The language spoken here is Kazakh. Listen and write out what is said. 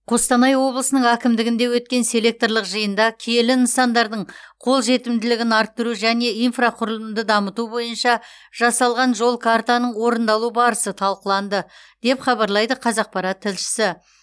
қостанай облысының әкімдігінде өткен селекторлық жиында киелі нысандардың қолжетімділігін арттыру және инфрақұрылымды дамыту бойынша жасалған жол картаның орындалу барысы талқыланды деп хабарлайды қазақпарат тілшісі